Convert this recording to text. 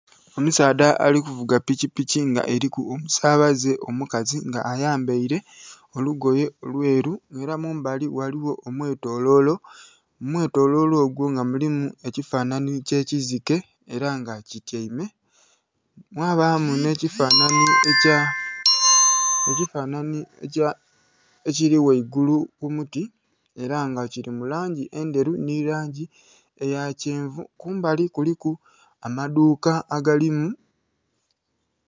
Omusaadha ali kuvuga piki piki nga eriku omusabaze omukazi nga ayambeile olugoye olweru era mumbali ghaligho omwetolo, mumwetolo ogwo mulimu ekifanhanhi ekyekizike era nga kityaime. Mwabamu nhebifanhanhi ekya ekiri ghaigulu kumuti era nga kiri mulangi endhelu nhe langi eya kyenvu. Kumbali kuliku amadhuuka agalimu..